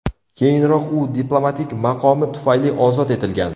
Keyinroq u diplomatik maqomi tufayli ozod etilgan.